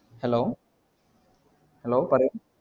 Hello hello പറയു